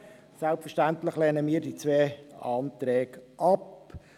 Selbstverständlich lehnen wir diese beiden Anträge ab.